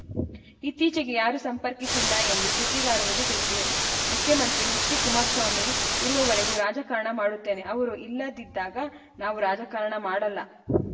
ಇತ್ತೀಚೆಗೆ ಯಾರು ಸಂಪರ್ಕಿಸಿಲ್ಲ ಎಂದು ಸುದ್ದಿಗಾರರಿಗೆ ತಿಳಿಸಿದರು ಮುಖ್ಯಮಂತ್ರಿ ಎಚ್‌ಡಿಕುಮಾರಸ್ವಾಮಿ ಇರುವವರೆಗೂ ರಾಜಕಾರಣ ಮಾಡುತ್ತೇನೆ ಅವರು ಇಲ್ಲದಿದ್ದಾಗ ನಾವು ರಾಜಕಾರಣ ಮಾಡಲ್ಲ